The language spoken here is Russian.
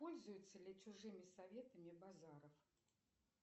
пользуется ли чужими советами базаров